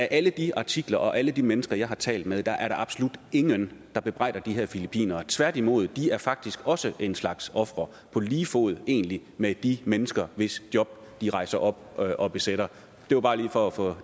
i alle de artikler og hos alle de mennesker jeg har talt med er der absolut ingen der bebrejder de her filippinere tværtimod de er faktisk også en slags ofre på lige fod egentlig med de mennesker hvis job de rejser op og besætter det var bare lige for at få